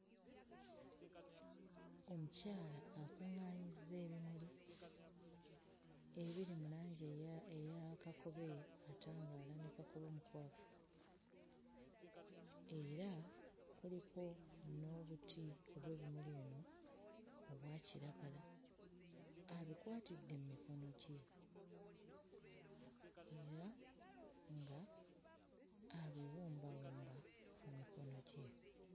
Omukyala akuŋŋaanyizza ebimuli ebiri mu langi eya eya kakobe atangaala ne kabobe omukwafu era kuliko n'obuti obw'ebimuli bino obwa kiragala abikwatidde mmikono gye era nga abiwumbawumba mu mikono gye.